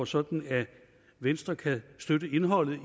sådan at venstre kan støtte indholdet i